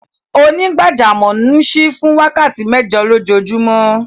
Onígbàjàmọ̀ n ṣíí fún wákàtí mẹ́jọ̀ lọjoojumọ̀.